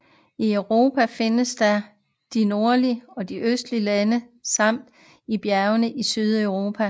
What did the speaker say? I Europa findes den i de nordlige og østlige lande samt i bjergene i Sydeuropa